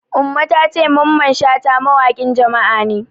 Umma ta ce Mamman Shata mawaƙin Jama'a ne.